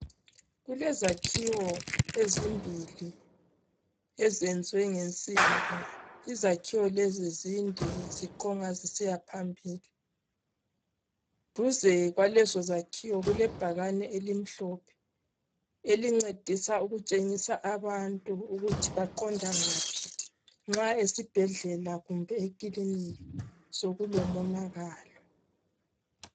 Kulezakhiwo ezimbili ezenzwe ngensimbi. Izakhiwo lezi zinde ziquma zisiyambambili. Duze kwalezozakhiwo kulebhakane elimhlophe elincedisa ukutshengisa abantu ukuthi baqonda ngaphi nxa esibhedlela kumbe ikilinika sokulomonakalo.